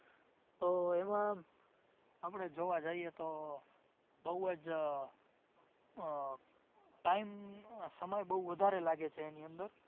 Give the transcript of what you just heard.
તો એમાં આપડે જોવા જાઈએ તો આહ બોવ જ આહ time સમય બોવ જ વધારે લાગે છે એની અંદર